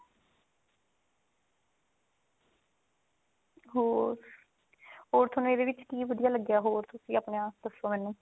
ਹੋਰ ਹੋਰ ਥੋਨੂੰ ਇਹਦੇ ਵਿੱਚ ਕੀ ਵਧੀਆ ਲੱਗਿਆ ਹੋਰ ਤੁਸੀਂ ਆਪਣਾ ਦੱਸੋ ਮੈਨੂੰ